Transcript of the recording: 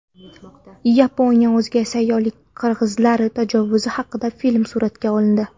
Yaponiyada o‘zga sayyoralik qirg‘izlar tajovuzi haqida film suratga olindi.